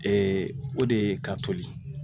o de ye ka toli